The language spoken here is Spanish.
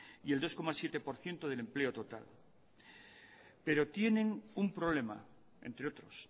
y el dos coma siete por ciento del empleo total pero tienen un problema entre otros